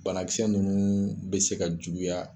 Banakisɛ ninnu bɛ se ka juguya